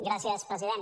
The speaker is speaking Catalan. gràcies president